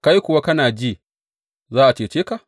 Kai kuwa kana ji za a cece ka?